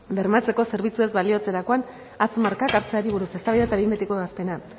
bermatzeko zerbitzuez baliatzerakoan hatz markak hartzeari buruz eztabaida eta behin betiko ebazpena